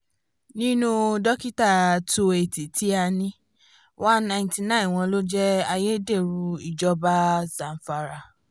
nínú dókítà wo eighty tí a ní one ninety nine wọ́n ló jẹ́ ayédèrú ìjọba zamfara